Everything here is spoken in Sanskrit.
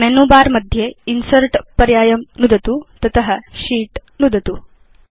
अधुना मेनु बर मध्ये इन्सर्ट् पर्यायं नुदतु तत शीत् नुदतु